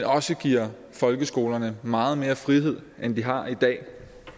også giver folkeskolerne meget mere frihed end de har i dag